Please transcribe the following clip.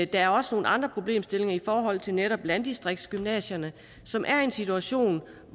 der er også nogle andre problemstillinger i forhold til netop landdistriktsgymnasierne som er i en situation